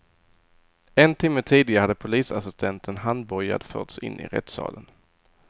En timme tidigare hade polisassistenten handbojad förts in i rättssalen.